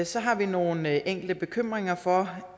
så har vi nogle enkelte bekymringer for